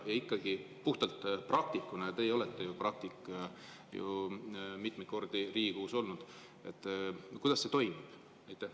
Ja ikkagi, puhtalt praktikuna – teie olete ju praktik, mitmeid kordi Riigikogus olnud –, kuidas see toimub?